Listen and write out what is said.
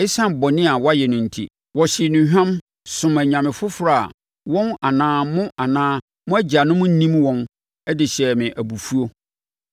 ɛsiane bɔne a wɔayɛ no enti. Wɔhyee nnuhwam, somm anyame foforɔ a wɔn anaa mo anaa mo agyanom nnim wɔn de hyɛɛ me abufuo.